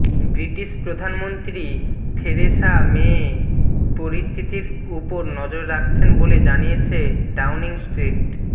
British প্রধানমন্ত্রী Theresa May পরিস্থিতির উপর নজর রাখছেন বলে জানিয়েছে ডাউনিং স্ট্রিট